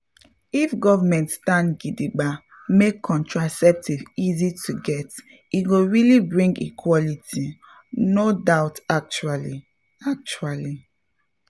if government stand gidigba make contraceptive easy to get e go really bring equality — no doubt actually actually!